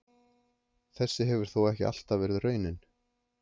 Þessi hefur þó ekki alltaf verið raunin.